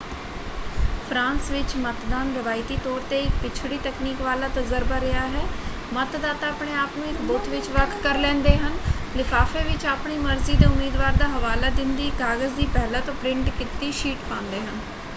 France ਵਿੱਚ ਮਤਦਾਨ ਰਵਾਇਤੀ ਤੌਰ 'ਤੇ ਇੱਕ ਪਿਛੜੀ ਤਕਨੀਕ ਵਾਲਾ ਤਜਰਬਾ ਰਿਹਾ ਹੈ: ਮਤਦਾਤਾ ਆਪਣੇ ਆਪ ਨੂੰ ਇੱਕ ਬੂਥ ਵਿੱਚ ਵੱਖ ਕਰ ਲੈਂਦੇ ਹਨ ਲਿਫਾਫੇ ਵਿੱਚ ਆਪਣੀ ਮਰਜ਼ੀ ਦੇ ਉਮੀਦਵਾਰ ਦਾ ਹਵਾਲਾ ਦਿੰਦੀ ਇੱਕ ਕਾਗਜ਼ ਦੀ ਪਹਿਲਾਂ ਤੋਂ ਪ੍ਰਿੰਟ ਕੀਤੀ ਸ਼ੀਟ ਪਾਂਦੇ ਹਨ।